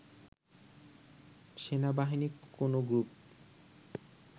সেনাবাহিনী কোনো গ্রুপ